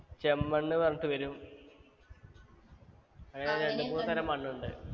ചെമ്മണ്ണ് പറഞ്ഞിട്ട് വരും അങ്ങനെ രണ്ട് മൂന്ന് തരം മണ്ണുണ്ട്